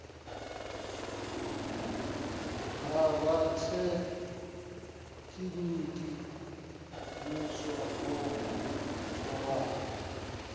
ha rathekiniki muswa o tholwaho